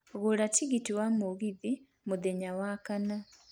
gũra tigiti wa mũgithi mũthenya wa kana